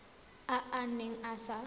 a a neng a sa